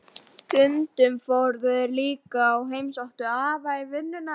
Stundum fóru þeir líka og heimsóttu afa í vinnuna.